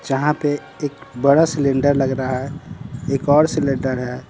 जहां पे एक बड़ा सिलेंडर लग रहा है एक और सिलेंडर है।